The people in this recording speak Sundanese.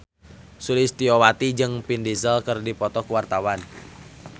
Sulistyowati jeung Vin Diesel keur dipoto ku wartawan